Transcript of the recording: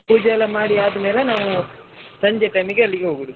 ಪೂಜೆ ಎಲ್ಲಾ ಮಾಡಿ ಅದ್ಮೇಲೆ ನಾವು ಸಂಜೆ time ಗೆ ಅಲ್ಲಿಗೆ ಹೋಗುದು.